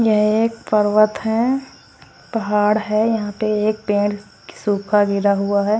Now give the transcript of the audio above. यह एक पर्वत है पहाड़ है यहाँ पे एक पेड़ सुखा गिरा हुआ है।